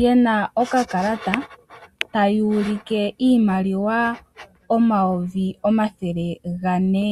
ye na okakalata tayi ulike iimaliwa omauvi omathele gane.